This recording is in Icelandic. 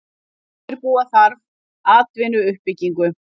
Undirbúa þarf atvinnuuppbyggingu